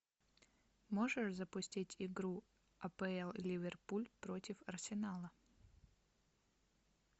можешь запустить игру апл ливерпуль против арсенала